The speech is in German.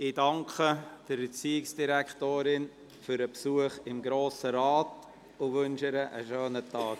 Ich danke der Erziehungsdirektorin für den Besuch im Grossen Rat und wünsche ihr einen schönen Tag.